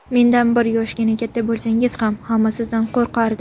Mendan bir yoshgina katta bo‘lsangiz ham hamma sizdan qo‘rqardi.